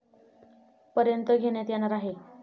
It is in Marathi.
पर्यंत घेण्यात येणार आहे.